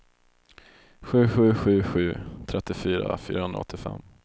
sju sju sju sju trettiofyra fyrahundraåttiofem